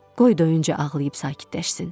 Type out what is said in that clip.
Qoy doyunca ağlayıb sakitləşsin.